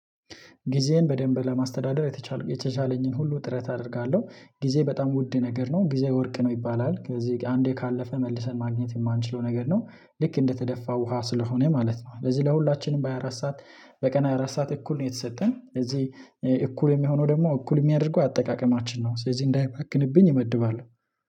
ጊዜን በደንብ ለማስተዳደር የተቻለኝን ሁሉ ጥረት አደርጋለሁ ጊዜ በጣም ውድ ነገር ነው ጊዜ ወርቅ ነው ይባላል ከዚህ አንዴ ካለፈ መልሰን ማግኘት የማንችለው ነገር ነው። ልክ እንደተደፋ ውሃ ስለሆነ ማለት ነው። ለዚህ ለሁላችንም በሃያ አራት ሰዓት በቀን ሃያ አራት ሰዓት እኩል ነው የተሰጠን እዚህ እኩል የሚሆነው ደግሞ እኩል የሚያደርገው አጠቃቀማችን ነው። ስለዚህ እንዳይባክንብኝ እመድባለሁ